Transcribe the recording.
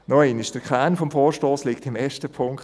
Noch einmal: Der Kern des Vorstosses liegt im ersten Punkt.